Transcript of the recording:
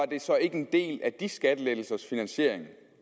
det så ikke en del af de skattelettelsers finansiering